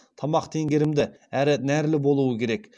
тамақ теңгерімді әрі нәрлі болуы керек